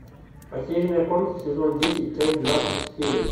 потерянная комната сезон десять часть двадцать четыре